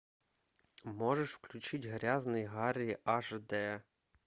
можешь включить грязный гарри аш д